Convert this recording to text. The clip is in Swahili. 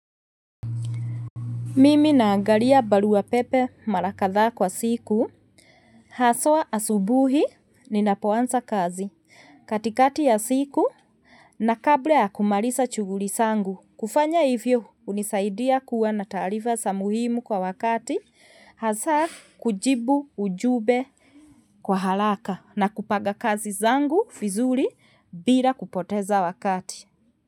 Mimi naangalia barua pepe mara kadhaa kwa siku. Haswa asubuhi ninapoanza kazi. Katikati ya siku na kabla ya kumaliza shughuli zangu. Kufanya hivyo hunisaidia kuwa na taarifa za muhimu kwa wakati. Hasa kujibu ujumbe kwa haraka na kupanga kazi zangu vizuri bila kupoteza wakati.